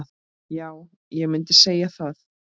Já, ég mundi segja það.